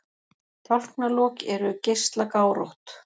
Tálknalok eru geislagárótt.